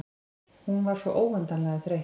Hún var svo óendanlega þreytt.